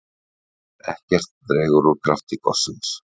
Ekkert dregur úr krafti gossins